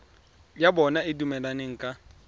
ya bona e dumelaneng ka